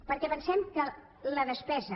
perquè pensem que la despesa